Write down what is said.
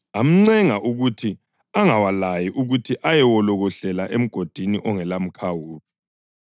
Amncenga ukuthi angawalayi ukuthi ayewolokohlela emgodini ongelamkhawulo.